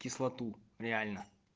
кислоту реально